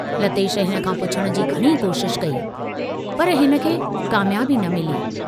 लतेश हिन खां पुछण जी घणी कोशशि कई, पर हिनखे कामयाबी न मिली।